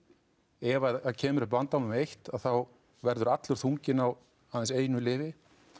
ef að það kemur upp vandamál með eitt þá verður allur þunginn á aðeins einu lyfi